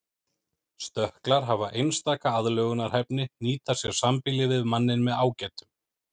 Stökklar hafa einstaka aðlögunarhæfni nýta sér sambýli við manninn með ágætum.